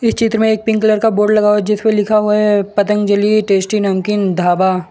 चित्र में एक पिंक कलर का बोर्ड लगा हुआ है जिस पे लिखा हुआ है य पतंजली टेस्टी नमकीन ढाबा।